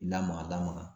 Lamaga lamɔ